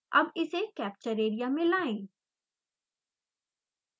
अब इसे capture area में लाएं